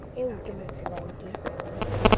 eo ke mo tsebang ke